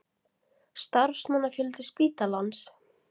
Starfsmannafjöldi spítalans?